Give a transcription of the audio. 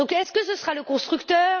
Est ce que ce sera le constructeur?